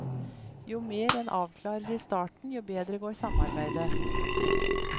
Jo mer en avklarer i starten, jo bedre går samarbeidet.